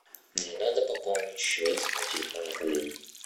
мне надо пополнить счет на телефоне коллеги